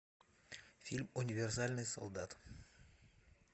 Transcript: фильм универсальный солдат